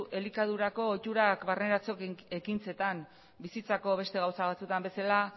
elikadurako ohiturak barneratze ekintzetan bizitzako beste gauza batzuetan bezala